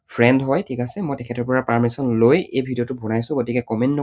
Friend হয় ঠিক আছে? মই তেখেতৰ পৰা permission লৈ এই video টো বনাইছো গতিকে comment